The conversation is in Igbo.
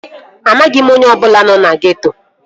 Amaghị m onye ọbụla nọ na geeto